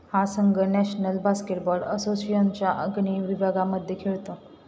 हा संघ national basketball असोसिएशनच्या अग्नेय विभागामध्ये खेळतो.